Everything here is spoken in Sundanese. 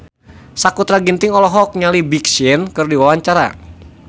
Sakutra Ginting olohok ningali Big Sean keur diwawancara